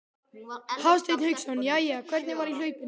Hafsteinn Hauksson: Jæja, hvernig var í hlaupinu?